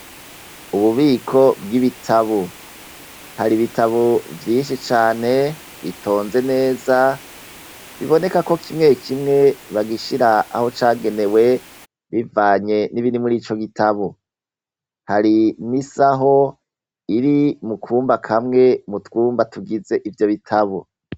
Ububiko bw'ibitabo, har' ibitabo vyinshi cane bitonze neza biboneko kimwe kimwe bagishira aho cagenewe bivanye n'ibiri muri ico gitabo, hari n'isaho iri mukumba kamwe mutwumba tugize ivyo bitabo.